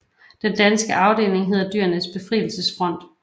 Den danske afdeling hedder Dyrenes Befrielsesfront